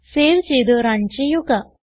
save ചെയ്ത് run ചെയ്യുക